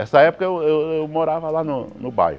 Essa época eu eu eu morava lá no no bairro.